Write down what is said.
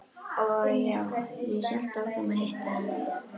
Og já, ég hélt áfram að hitta hana.